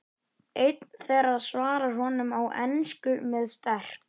Það þótti illt verk og ekki fært nema efldum karlmönnum.